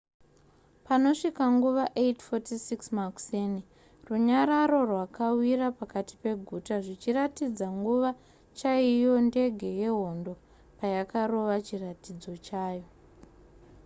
panosvika nguva 8:46 makuseni runyararo rwakawira pakati peguta zvichiratidza nguva chaiyo ndege yehondo payakarova chiratidzo chayo